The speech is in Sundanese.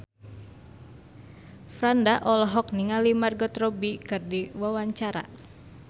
Franda olohok ningali Margot Robbie keur diwawancara